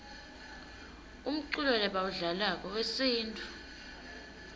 umculo lebawudlalako wesintfu